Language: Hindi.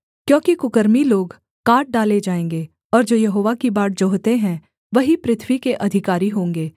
क्योंकि कुकर्मी लोग काट डाले जाएँगे और जो यहोवा की बाट जोहते हैं वही पृथ्वी के अधिकारी होंगे